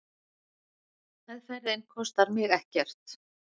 Meðferðin kostar mig ekkert.